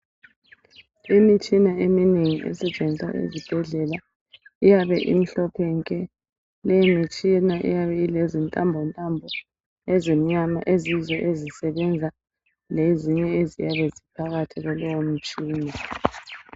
Imitshina eminengi esetshenziswa ezibhedlela iyabe imhlophe nke leyi mitshina iyabe ilentambo ntambo ezimnyama eziyizo ezisebenza lezinye eziyabe ziphakathi kulowo mutshina